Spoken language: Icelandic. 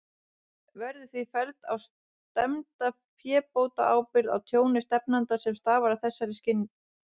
Verður því felld á stefnda fébótaábyrgð á tjóni stefnanda, sem stafar af þessari synjun.